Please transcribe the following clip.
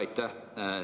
Aitäh!